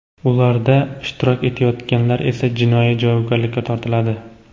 ularda ishtirok etayotganlar esa jinoiy javobgarlikka tortiladi.